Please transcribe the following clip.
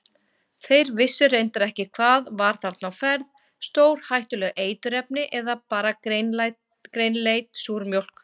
Þeir vissu reyndar ekki hvað var þarna á ferð, stórhættuleg eiturefni eða bara grænleit súrmjólk?